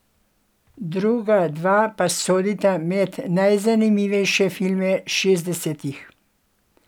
Druga dva pa sodita med najzanimivejše filme šestdesetih.